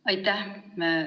Aitäh!